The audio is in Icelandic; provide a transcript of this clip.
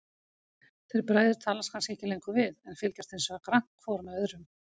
Þeir bræður talast kannski ekki lengur við, en fylgjast hinsvegar grannt hvor með öðrum.